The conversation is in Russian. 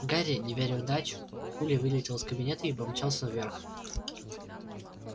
гарри не веря в удачу пулей вылетел из кабинета и помчался вверх